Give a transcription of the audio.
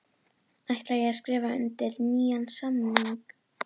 Ætla ég að skrifa undir nýjan samning?